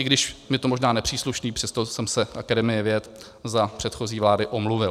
I když mi to možná nepřísluší, přesto jsem se Akademii věd za předchozí vlády omluvil.